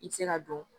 I bɛ se ka don